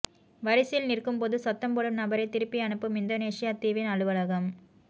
வரிசையில் நிற்கும்போது சத்தம்போடும் நபரை திருப்பி அனுப்பும் இந்தோனேசிய தீவின் அலுவலகம்